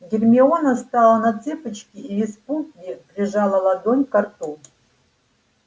гермиона встала на цыпочки и в испуге прижала ладонь ко рту